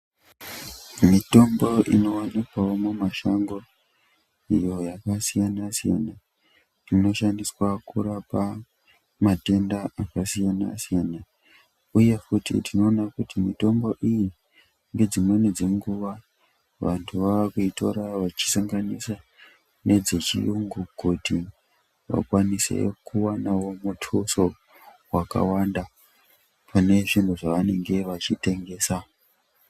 Mitombo inowanikwawo mumashango iyo yakasiyana siyana inoshandiswa kurapa matenda akasiyana siyana uye futi tinoona kuti mitombo iyi dzimweni dzenguwa vantu vakuitora vachisanganisa nedzechuyungu kuti vakwanisewo kuwana mutuso wakawanda pane zvinhu zvavanenge vachitengesa.